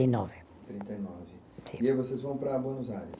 E nove. Trinta e nove. Sim. E aí vocês vão para Buenos Aires?